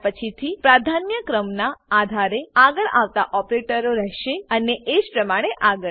ત્યાર પછીથી પ્રાધાન્ય ક્રમનાં આધારે આગળ આવતા ઓપરેટરો રહેશે અને એજ પ્રમાણે આગળ